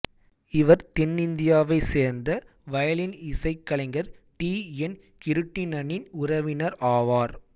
இவர் தென்னிந்தியாவைச் சேர்ந்த வயலின் இசைக் கலைஞர் டி என் கிருட்டிணனின் உறவினர் ஆவார்